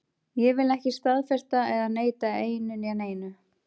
Ég vil ekki staðfesta eða neita einu né neinu.